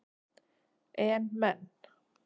En menn